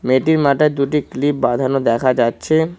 মেয়েটির মাথায় দুটি ক্লিপ বাঁধানো দেখা যাচ্ছে।